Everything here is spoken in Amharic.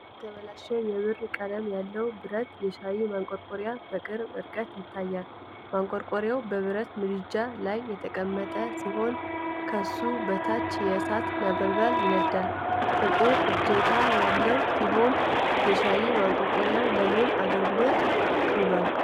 የተበላሸ የብር ቀለም ያለው ብረት የሻይ ማንቆርቆሪያ በቅርብ ርቀት ይታያል። ማንቆርቆሪያው በብረት ምድጃ ላይ የተቀመጠ ሲሆን፣ ከሱ በታች የእሳት ነበልባል ይነዳል። ጥቁር እጀታ ያለው ሲሆን፣ የሻይ ማንቆርቆሪያው ለምን አገልግሎት ውሏል?